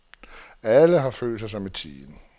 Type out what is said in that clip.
Alle har følt sig som et team.